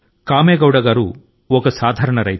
కామెగౌడ ఒక సాధారణ రైతు